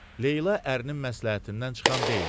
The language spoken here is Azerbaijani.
Leyla ərinin məsləhətindən çıxan deyildi.